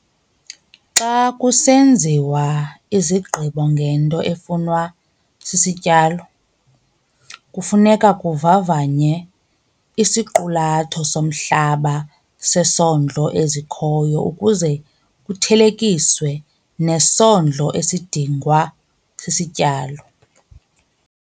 Xa kusenziwa izigqibo ngento efunwa sisityalo, kufuneka kuvavanywe isiqulatho somhlaba sesondlo ezikhoyo ukuze kuthelekiswe nesondlo esidingwa sisityalo.